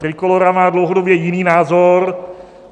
Trikolóra má dlouhodobě jiný názor.